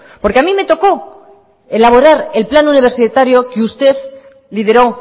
porque a mí me tocó elaborar el plan universitario que usted lideró